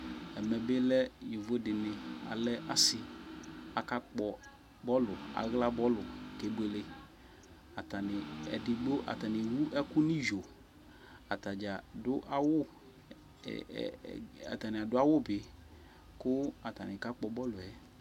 zƐmɛ bɩ lɛ yovo dɩnɩ alɛ asɩ akpɔ bɔlʋ, aɣla bɔlʋ kebuele Atanɩ, edigbo atsnɩ ewu ɛkʋ n'iyo, atadzaa dʋ awʋ ɛɛɛ atanɩ be kʋ atanɩ kakpɔ bɔlʋ yɛ